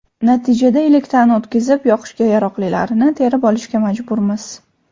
Natijada elakdan o‘tkazib, yoqishga yaroqlilarini terib olishga majburmiz.